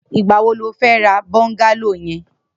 Nigbà wó ló fè rà bọngàló yèn